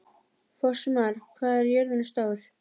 Fossmar, hvað er jörðin stór?